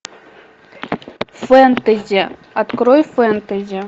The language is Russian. фэнтези открой фэнтези